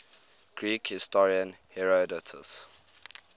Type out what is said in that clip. greek historian herodotus